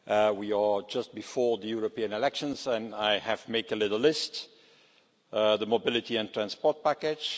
We are just before the European elections and I have made a little list the mobility and transport package